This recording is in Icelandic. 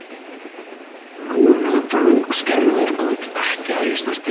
Og nú nötrar hún og skelfur og vill ekki að ég snerti sig.